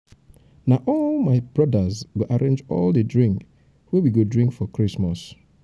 na all my my brodas go arrange all di drink wey we go drink for christmas.